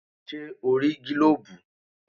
Ṣẹ́ o rí gílóbù?